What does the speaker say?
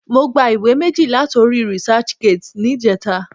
Mo gba ìwé méjì láti orí researchgate níjẹta.